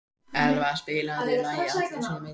Elva, spilaðu lagið „Allir sem einn“.